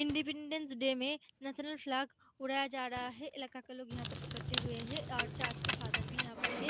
Independence day में national flag उड़ाया जा रहा है इलाका के लोग यहाँ पर इकट्ठे हुए है और चर्च के फादर भी यहाँ पर है।